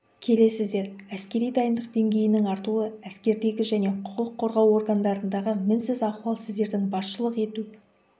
келесіздер әскери дайындық деңгейінің артуы әскердегі және құқық қорғау органдарындағы мінсіз ахуал сіздердің басшылық ету